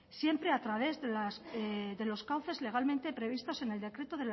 siempre a través de los cauces legalmente previstos en el decreto